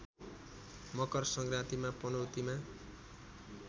मकर संक्रान्तिमा पनौतीमा